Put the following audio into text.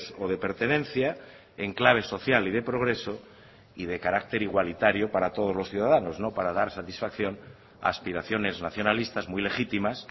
o de pertenencia en clave social y de progreso y de carácter igualitario para todos los ciudadanos no para dar satisfacción a aspiraciones nacionalistas muy legítimas